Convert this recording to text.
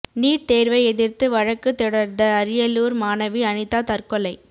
NEET தேர்வை எதிர்த்து வழக்கு தொடர்ந்த அரியலூர் மாணவி அனிதா தற்கொலை